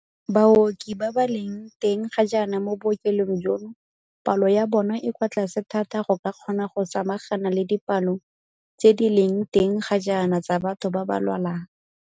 Baoki ba ba leng teng ga jaana mo bookelong jono palo ya bona e kwa tlase thata go ka kgona go samagana le dipalo tse di leng teng ga jaana tsa batho ba ba lwalang.